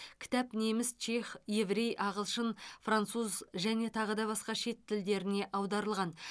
кітап неміс чех еврей ағылшын француз және тағы басқа шет тілдеріне аударылған